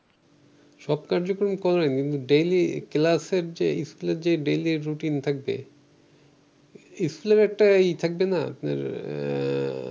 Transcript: সব কার্যক্রম ই করেন, কিন্তু ডেইলি ক্লাসের যে স্কুলের যে ডেইলি রুটিন থাকবে স্কুলের একটা ই থাকবে না আপনার এর